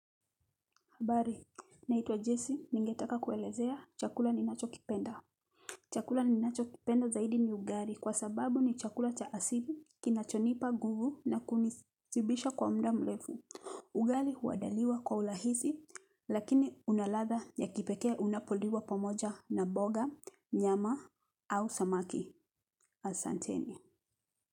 Habari, naitwa Jesse. Ningetaka kuelezea chakula ninachokipenda. Chakula ninachokipenda zaidi ni ugali. Kwa sababu ni chakula cha asili. Kinachonipa nguvu na kunishibisha kwa muda mrefu. Ugali huandaliwa kwa urahisi, lakini una ladha ya kipekee unapoliwa pomoja na mboga, nyama, au samaki. Asanteni.